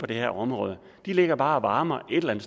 det her område de ligger bare og varmer et eller